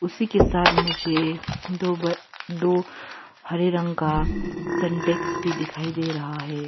उसी के साथ मुझे दो दो हरे रंग का सिंटेक्स भी दिखाई दे रहा है।